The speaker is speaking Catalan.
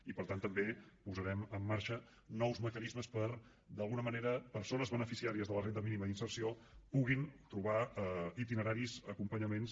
i per tant també posarem en marxa nous mecanismes perquè d’alguna manera persones beneficiàries de la renda mínima d’inserció puguin trobar itineraris acompanyaments